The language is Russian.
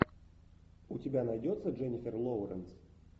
у тебя найдется дженнифер лоуренс